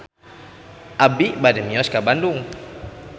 Abi bade mios ka Bandung